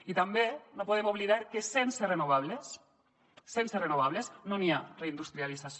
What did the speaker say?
i tampoc no podem oblidar que sense renovables sense renovables no hi ha reindustrialització